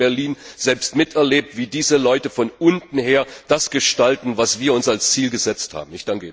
Ich habe das in Berlin selbst miterlebt, wie diese Leute von unten her das gestalten, was wir uns als Ziel gesetzt haben.